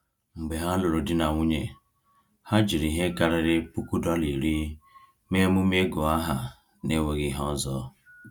Mgbe ha lụrụ di na nwunye, ha jiri ihe karịrị $10,000 mee emume ịgụ aha n’enweghị ihe ọzọ.